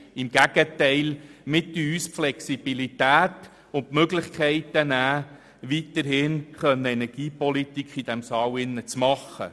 Im Gegenteil: Wir nehmen uns damit die Flexibilität und die Möglichkeit, weiterhin Energiepolitik im Grossen Rat zu betreiben.